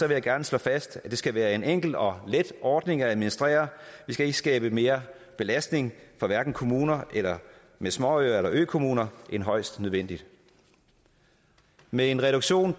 jeg gerne slå fast at det skal være en enkel og let ordning at administrere vi skal ikke skabe mere belastning for kommuner med småøer eller økommuner end højst nødvendigt med en reduktion